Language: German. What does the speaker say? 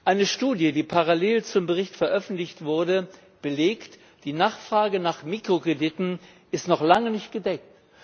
Eine Studie, die parallel zum Bericht veröffentlicht wurde, belegt Die Nachfrage nach Mikrokrediten ist noch lange nicht gedeckt!